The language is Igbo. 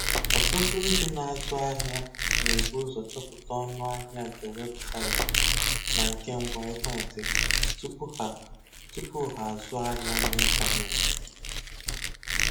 Ọtụtụ ndị na-azụ ahịa na -ebu ụzọ chọpụta ọnụ ahịa nke weebụsaịtị na nke ngwa ekwentị tupu ha tupu ha azụọ ahịa n'intanetị.